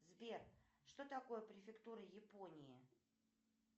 сбер что такое префектура японии